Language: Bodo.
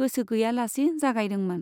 गोसोगैयालासे जागायदोंमोन।